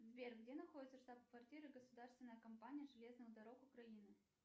сбер где находится штаб квартира государственная компания железных дорог украины